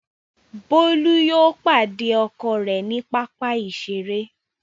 Bolu yóò pàdé ọkọ rẹ ní papa iṣere.